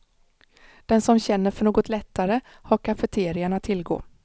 Den som känner för något lättare har kafeterian att tillgå.